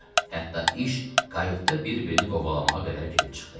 Hətta iş kayutda bir-birini qovalamağa qədər gedib çıxdı.